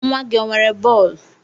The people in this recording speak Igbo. Nwa gị o nwere bọọlu?